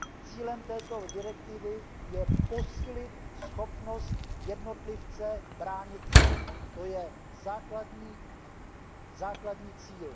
Cílem této direktivy je posílit schopnost jednotlivce bránit se, to je základní cíl.